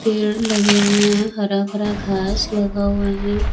पेड़ लगे हुए हैं हरा भरा घास लगा हुआ है।